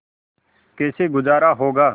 कैसे गुजारा होगा